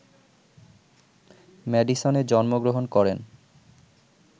ম্যাডিসনে জন্মগ্রহণ করেন